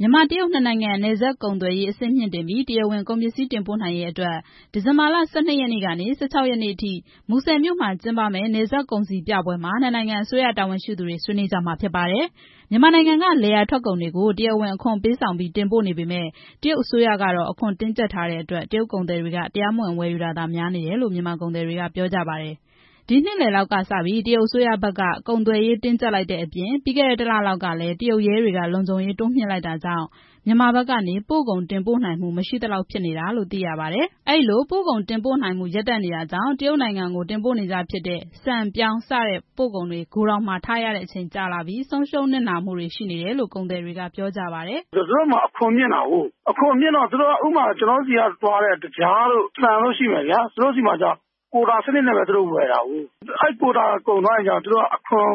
မြန်မာ-တရုတ် နှစ်နိုင်ငံ နယ်စပ်ကုန်သွယ်ရေး အဆင့်မြှင့်တင်ပြီး တရားဝင် ကုန်ပစ္စည်း တင်ပို့နိုင်ရေးအတွက် ဒီဇင်ဘာလ ၁၂ ရက်နေ့ကနေ ၁၆ ရက်နေ့အထိ မူဆယ်မြို့မှာ ကျင်းပမယ့် နယ်စပ်ကုန်စည်ပြပွဲမှာ နှစ်နိုင်ငံ အစိုးရတာဝန်ရှိသူတွေ ဆွေးနွေးကြမှာဖြစ်ပါတယ်။ မြန်မာနိုင်ငံက လယ်ယာထွက်ကုန်တွေကို တရားဝင်အခွန်ပေးဆောင်ပြီး တင်ပို့နေပေမယ့် တရုတ်နိုင်ငံအစိုးရက အခွန်တင်းကျပ်ထားတဲ့အတွက် တရုတ်သည်တွေက တရားမဝင် ဝယ်ယူတာသာများနေတယ်လို့ ကုန်သည်တွေက ပြောကြပါတယ်။ ဒီနှစ်လယ်လောက်ကစပြီး တရုတ်အစိုးရဘက်က ကုန်သွယ်ရေး တင်းကျပ်လိုက်တဲ့အပြင် ပြီးခဲ့တဲ့ တစ်လလောက် ကလည်း တရုတ်ရဲတွေက လုံခြုံရေးတင်းကျပ်လိုက်တာကြောင့် မြန်မာဘက်ကနေ ပို့ကုန်တင်ပို့နိုင်မှု မရှိသလောက်ဖြစ်နေတာလို့ သိရပါတယ်။ အဲဒီလို ပို့ကုန်တင်ပို့နိုင်မှု ရပ်တန့်နေတာကြောင့် တရုတ်နိုင်ငံကို တင်ပို့နေကျဖြစ်တဲ့ ဆန်၊ ပြောင်း စတဲ့ ပို့ကုန်တွေ ဂိုဒေါင်မှာ ထားရတဲ့အချိန်ကြာလာပြီး ဆုံးရှုံးနစ်နာမှုတွေ ရှိနေတယ်လို့ ကုန်သည်တွေက ပြောကြပါတယ်။ "သူတို့ဘက်မှာ အခွန်မြှင့်တာကို။ ကျနော်တို့ဆီက ပို့တဲ့ စပါး၊ သကြားတို့ ပြောင်း တို့ရှိမယ်။ သူတို့ဆီမှာက ကိုတာ စနစ်နဲ့ပဲ ဝယ်တာကိုး။ အဲဒီ ကိုတာ စနစ်ကုန်သွားရင် အခွန်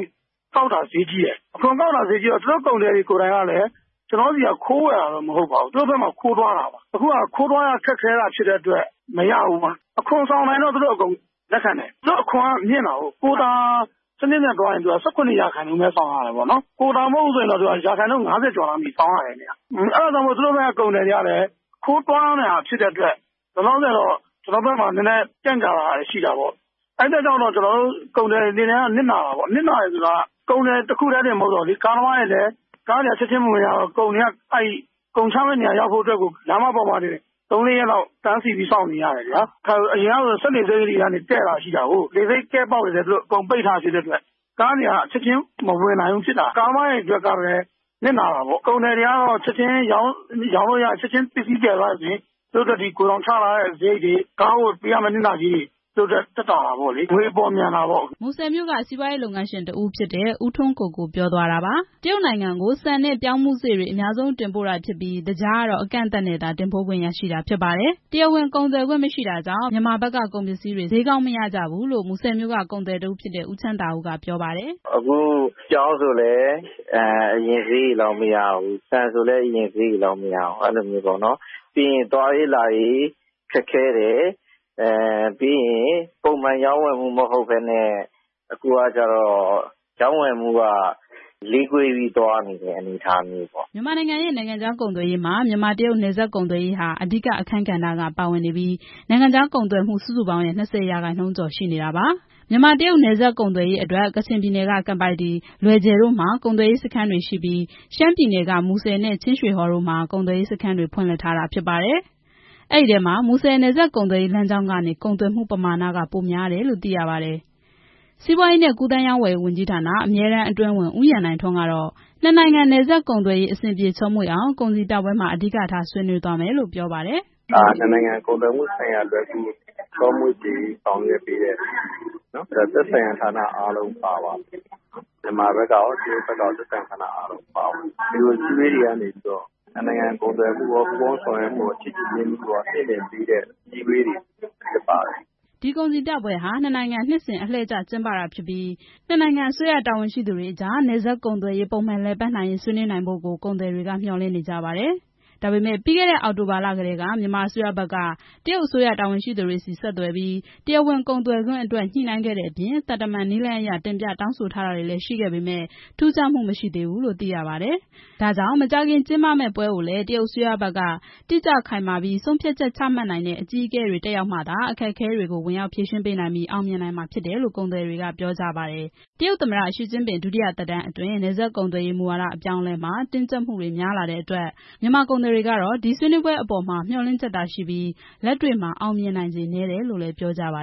ကောက်တာ ဈေးကြီးတယ်။ ဈေးကြီးတော့ သူတို့ကုန်သည်တွေကိုယ်တိုင်က ကျနော်တို့ဆီက ခိုးဝယ်တာတော့ မဟုတ်ပါဘူး။ ခိုးသွားတာပေါ့။ အခုက ခိုးသွားရခက်ခဲတဲ့အတွက် မရဘူးပေါ့။ သူတို့က ကိုတာ နဲ့သွားရင် ၁၇ ရာခိုင်နှုန်း ပဲ အခွန်ဆောင်ရတယ်။ ကိုတာ မဟုတ်ရင် ရာခိုင်နှုန်း ၅၀ ကျော်လောက် ဆောင်ရတယ်။ အဲဒါကြောင့် သူတို့ဘက်က ကုန်သည်တွေကလည်း ခိုးသွားရတာဖြစ်တဲ့အတွက် လောလောဆယ်တော့ ကျနော်တို့ဘက်မှာ ကြန့်ကြာတာ ရှိတာပေါ့။ အဲ့အတွက်ကြောင့် ကျနော်တို့ ကုန်သည်တွေအနေနဲ့က နစ်နာတာပေါ့။ နစ်နာတာက ကုန်သည်တွေတင် မဟုတ်ဘဲ ကားသမားတွေလည်း ပါတာပေါ့။ ကားတွေက ချက်ချင်းမဝင်ရဘဲ ကုန်ချမယ့်နေရာရောက်ဖို့အတွက် လမ်းပေါ်မှာ သုံးလေးရက်လောက် တန်းစီပြီး စောင့်နေရတယ်။ အရင်ကဆို စက်လှေဆိပ်တွေကနေလည်း ကဲ့ တာရှိတာကိုး။ အဲဒါတွေလည်း အကုန်ပိတ်ထားတော့ ကားတွေက ချက်ချင်းမဝင်နိုင်ဘူးဖြစ်တာ။ ကားသမားတွေအတွက်ကလည်း နစ်နာတာပေါ့။ ကုန်သည်တွေကတော့ ချက်ချင်းရောင်းလို့ရပြီး ပစ္စည်း သယ်သွားတယ်ဆိုရင် သူတို့အတွက် ဂိုဒေါင်ချထားတဲ့စရိတ်တွေ ကားအတွက်ပေးရမယ့် နစ်နာကြေးတွေ သူတို့အတွက် သက်သာတာပေါ့။ ငွေပေါ်လည်း မြန်တာပေါ့" မူဆယ်က စီးပွားရေးလုပ်ငန်းရှင်တစ်ဦးဖြစ်တဲ့ ဦးထွန်းကိုကို ပြောသွားတာပါ။ တရုတ်နိုင်ငံကို ဆန်နဲ့ ပြောင်းဖူးစေ့တွေ အများဆုံးတင်ပို့တာဖြစ်ပြီး သကြားကတော့ အကန့်အသတ်နဲ့သာ တင်ပို့ခွင့်ရရှိတာဖြစ်ပါတယ်။ တရားဝင်ကုန်သွယ်ခွင့်မရှိတာကြောင့် မြန်မာဘက်က ကုန်ပစ္စည်းတွေ ဈေးမရကြဘူးလို့ မူဆယ်မြို့က ကုန်သည် ဦးချမ်းသာဦး က ပြောပါတယ်။ "အခုပြောင်းဆိုလည်း အရင်ဈေးတွေလောက် မရဘူး။ ဆန်ဆိုလည်း အရင်ဈေးလောက် မရဘူး။ ပြီးရင် သွားရေးလာရေးလည်း ခက်ခဲတယ်။ ပုံမှန်ရောင်းဝယ်မှုမဟုတ်ဘဲ အခုက ရောင်းဝယ်မှုက နှေးကွေးပြီး သွားနေတဲ့ပုံစံမျိုးပေါ့" မြန်မာနိုင်ငံရဲ့ နိုင်ငံခြားကုန်သွယ်ရေးမှာ မြန်မာ-တရုတ် နယ်စပ်ကုန်သွယ်ရေးဟာ အဓိက အခန်းကဏ္ဍက ပါဝင်နေပြီး နိုင်ငံခြားကုန်သွယ်မှု စုစုပေါင်းရဲ့ ၂၀ ရာခိုင်နှုန်းကျော် ရှိနေတာပါ။ မြန်မာ-တရုတ် နယ်စပ်ကုန်သွယ်ရေးအတွက် ကချင်ပြည်နယ်က ကန်ပိုက်တီး၊ လွယ်ဂျယ်တို့မှာ ကုန်သွယ်ရေးစခန်းတွေရှိပြီး ရှမ်းပြည်နယ်က မူဆယ် နဲ့ ချင်းရွှေဟော်တို့မှာ ကုန်သွယ်ရေးစခန်းတွေ ဖွင့်လှစ်ထားတာဖြစ်ပါတယ်။ အဲဒီထဲမှာ မူဆယ် နယ်စပ်ကုန်သွယ်ရေးလမ်းကြောင်းကနေ ကုန်သွယ်မှုပမာဏက ပိုများတယ်လို့ သိရပါတယ်။ စီးပွားရေးနဲ့ ကူးသန်းရောင်းဝယ်ရေးဝန်ကြီးဌာန အမြဲတမ်းအတွင်းဝန် ဦးရန်နိုင်ထွန်း က နှစ်နိုင်ငံနယ်စပ် ကုန်သွယ်ရေး အဆင်ပြေချောမွေ့အောင် ကုန်စည်ပြပွဲမှာ အဓိကထား ဆွေးနွေးသွားမယ်လို့ ပြောပါတယ်။ "ဒါက နှစ်နိုင်ငံကုန်သွယ်မှုဆိုင်ရာ လွယ်ကူချောမွေ့စေရေး ဆောင်ရွက်ပေးတာပါ။ မြန်မာဘက်ကရော တရုတ်ဘက်ကရော သက်ဆိုင်ရာဌာနအားလုံး ပါဝင်ပါတယ်။ ဒီလိုအစည်းအဝေးတွေကနေ နှစ်နိုင်ငံ ကုန်သွယ်မှုရော၊ ပူးပေါင်းဆောင်ရွက်မှုရော ချစ်ကြည်ရင်းနှီးမှုရော မြှင့်တင်ပေးတဲ့ အစည်းအဝေးတွေ ဖြစ်ပါတယ်" ဒီကုန်စည်ပြပွဲဟာ နှစ်နိုင်ငံ နှစ်စဉ် အလှည့်ကျ ကျင်းပတာဖြစ်ပြီး နှစ်နိုင်ငံအစိုးရ တာဝန်ရှိသူတွေအကြား နယ်စပ်ကုန်သွယ်ရေး ပုံမှန်လည်ပတ်နိုင်ရေး ဆွေးနွေးနိုင်ဖို့ကို ကုန်သည်တွေက မျှော်လင့်နေကြပါတယ်။ ဒါပေမဲ့ ပြီးခဲ့တဲ့ အောက်တိုဘာလကတည်းက မြန်မာအစိုးရဘက်က တရုတ်အစိုးရ တာဝန်ရှိသူတွေဆီ ဆက်သွယ်ပြီး တရားဝင်ကုန်သွယ်ခွင့်အတွက် ညှိနှိုင်းခဲ့တဲ့အပြင် သံတမန်နည်းလမ်းအရ တင်ပြတောင်းဆိုထားတာ တွေလည်း ရှိခဲ့ပေမယ့် ထူးခြားမှု မရှိသေးဘူးလို့ သိရပါတယ်။ ဒါကြောင့် မကြာခင် ကျင်းပမယ့်ပွဲကိုလည်း တရုတ်အစိုးရဘက်က တိကျခိုင်မာပြီး ဆုံးဖြတ်ချက်ချမှတ်နိုင်တဲ့ အကြီးအကဲတွေ တက်ရောက်မှသာ အခက်အခဲတွေ ဝင်ရောက်ဖြေရှင်းပေးနိုင်ပြီး အောင်မြင်နိုင်မှာဖြစ်တယ်လို့ ကုန်သည်တွေက ပြောကြပါတယ်။ တရုတ် သမ္မတ ရှီကျင့်ပင် ဒုတိယသက်တမ်းအတွင်း နယ်စပ်ကုန်သွယ်ရေး မူဝါဒအပြောင်းအလဲမှာ တင်းကျပ်မှုတွေများလာတဲ့အတွက် မြန်မာကုန်သည်တွေကတော့ ဒီဆွေးနွေးပွဲအပေါ်မှာ မျှော်လင့်ချက်သာရှိပြီး လက်တွေ့မှာ အောင်မြင်နိုင်ခြေနည်းတယ်လို့လည်း ပြောကြပါ